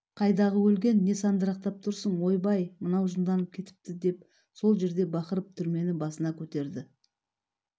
қайдағы өлген не сандырақтап тұрсың ойбай мынау жынданып кетіпті деп сол жерде бақырып түрмен басына көтерді